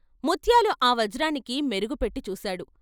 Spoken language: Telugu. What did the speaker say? ముత్యాలు ఆ వజ్రానికి మెరుగు పెట్టి చూశాడు.